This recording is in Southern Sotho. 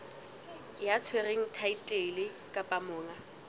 ya tshwereng thaetlele kapa monga